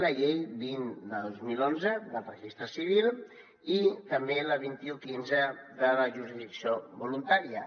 la llei vint dos mil onze del registre civil i també la vint un quinze de la jurisdicció voluntària